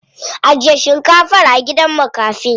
Ajiye shinkafar a gidan makafi.